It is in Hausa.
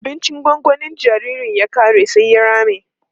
da abincin gongonin jinjirin ya ƙare sai ya rame